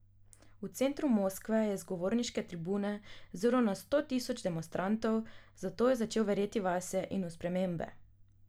V centru Moskve je z govorniške tribune zrl na sto tisoč demonstrantov, zato je začel verjeti vase in v spremembe.